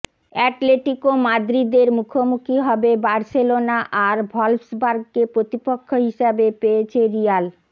Atletico মাদ্রিদের মুখোমুখি হবে বার্সেলোনা আর ভল্ফসবার্গকে প্রতিপক্ষ হিসেবে পেয়েছে রিয়াল